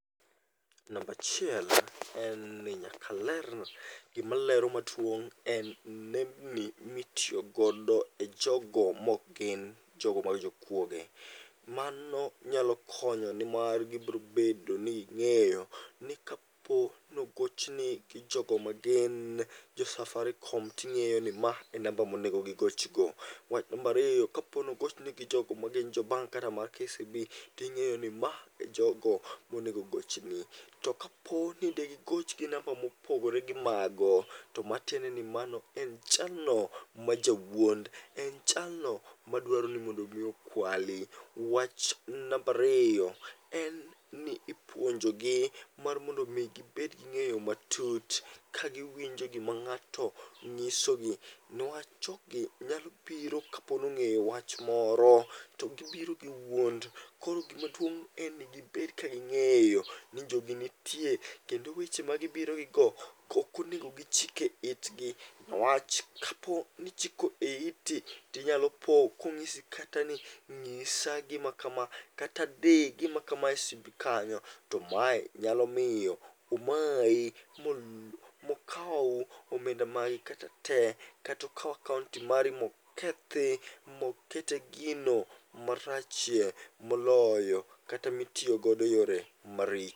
Nambachiel en ni nyaka ler, gimalero maduong' en nembni mitiyogodo e jogo mok gin jogo mag jokuoge. Mano nyalo konyo nimar gibrobedo ni ging'eyo ni kapo nogochni gi jogo magin jo Safaricom ting'eyo ni ma e namba monego gigoch go. Wach nambariyo kapo nogochni gi jogo ma gin jo bank kaka mar KCB ting'eyo ni ma e jogo monego gochni. To kapo ni de gigoch gi namba mopogore gi mago, to matiende ni mano en jalno majawuond. En jalno madwaro ni mondo mi okwali. Wach nambariyo en ni ipuonjogi mar mondo mi gibed gi ng'eyo matut. Ka giwinjo gima ng'ato ng'isogi. Niwach jogi nyalo biro kapo nong'eyo wach moro, to gibiro gi wuond. Koro gimaduong' en ni gibed ka ging'eyo ni jogi nitie kendo weche ma gibiro gigo okonego gichike itgi. Newach kapo ni ichiko e iti, tinyalo po kong'isi kata ni ng'isa gima kama kata di gima kama e simbi kanyo. To mae nyalo miyo omayi mokaw omenda mari kata te, katokaw akaonti mari mokethi mokete gino marachie moloyo. Kata mitiyo godo e yore maricho.